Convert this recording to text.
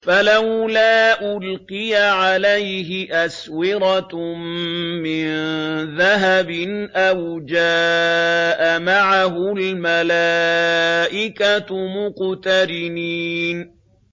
فَلَوْلَا أُلْقِيَ عَلَيْهِ أَسْوِرَةٌ مِّن ذَهَبٍ أَوْ جَاءَ مَعَهُ الْمَلَائِكَةُ مُقْتَرِنِينَ